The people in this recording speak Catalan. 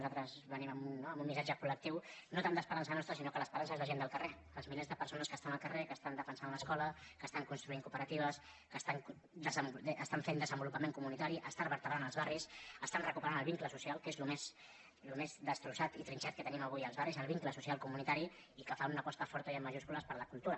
nosaltres venim amb un missatge colrança nostra sinó que l’esperança és la gent del carrer els milers de persones que estan al carrer que estan defensant l’escola que estan construint cooperatives que estan fent desenvolupament comunitari estan vertebrant els barris estan recuperant el vincle social que és el més destrossat i trinxat que tenim avui als barris el vincle social comunitari i que fa una aposta forta i en majúscules per la cultura